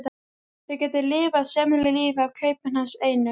Þau gætu lifað sæmilegu lífi af kaupinu hans einu.